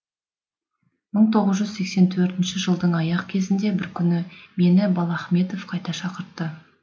иың тоғыз жүз сексен төртінші жылдың аяқ кезінде бір күні мені балахметов қайта шақыртты